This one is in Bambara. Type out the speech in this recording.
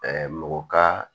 mɔgɔ ka